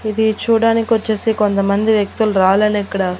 ఇది చూడ్డానికి వచ్చేసి కొంతమంది వ్యక్తులు రాలలో ఇక్కడ.